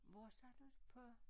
Hvor sagde du på